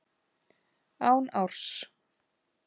Án árs.